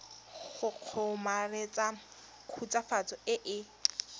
go kgomaretsa khutswafatso e e